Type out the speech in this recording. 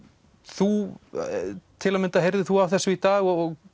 þú til að mynda heyrðir þú af þessu í dag og